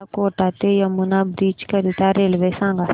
मला कोटा ते यमुना ब्रिज करीता रेल्वे सांगा